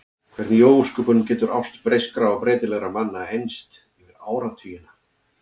Hvernig í ósköpunum getur ást breyskra og breytilegra manna enst yfir áratugina?